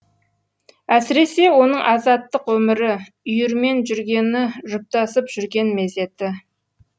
әсіресе оның азаттық өмірі үйірмен жүргені жұптасып жүрген мезеті